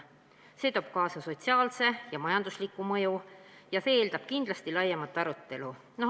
See toob kaasa sotsiaalse ja majandusliku mõju ning see eeldab kindlasti laiemat arutelu.